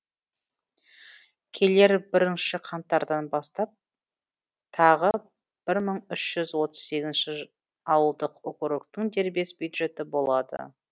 келер жылы бірінші қаңтардан бастап тағы бір мың үш жүз отвз сегізінші ауылдық округтің дербес бюджеті болады